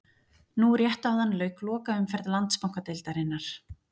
Nú rétt áðan lauk lokaumferð Landsbankadeildarinnar.